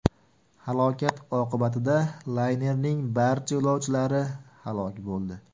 Halokat oqibatida laynerning barcha yo‘lovchilari halok bo‘ldi .